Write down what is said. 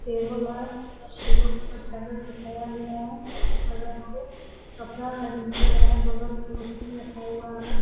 Table है table पे चादर बिछाया गया है उसी पे रख के कपड़ा आइरन कर रहा है बगल में मशीन रखा हुआ है ।